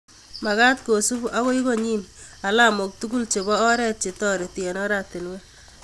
Magat kosub ako konyi alamok tugul chebo oret che toreti eng oratinwek